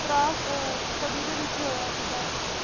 ਤਰਾਂ ਅਹ ਸਦੀ ਦੇ ਵਿਚ ਹੋਇਆ ਸੀਗਾ ।